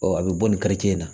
Ɔ a bɛ bɔ nin karice in na